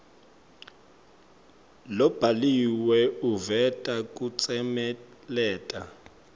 lobhaliwe uveta kutsemeleta